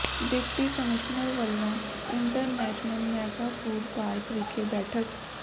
deputy commissioner ਵੱਲੋਂ international mega food park ਵਿਖੇ ਬੈਠਕ